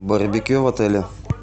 барбекю в отеле